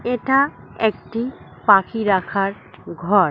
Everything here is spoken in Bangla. এটা একটি পাখি রাখার ঘর।